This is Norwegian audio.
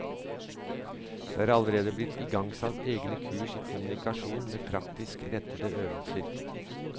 Derfor er det allerede blitt igangsatt egne kurs i kommunikasjon med praktisk rettede øvelser.